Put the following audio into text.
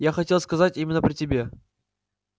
я хотел сказать именно при тебе